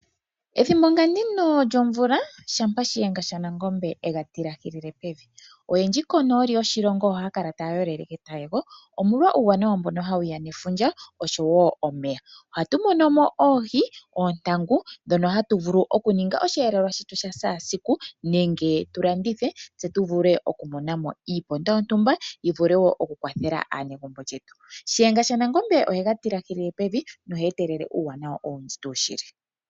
Ethimbo nga ndino lyomvula shampa shiyenga shaNangombe e ga tilahilile pevi oyendji konooli yoshilongo ohaya kala taya yolele ketayego, molwa uuwanawa mbono hawu ya nefundja osho wo omeya. Ohatu mono mo oohi, oontangu ndhono hatu vulu okuninga oshiyelelwa shetu sha shaasiku nenge tu landithe tse tu vule okumona mo iiponda yontumba yi vule okukwathela aanegumbo lyetu. Shiyenga shaNangombe ohega tilahilile pevi noheetele uuwanawa owundji tuu shili.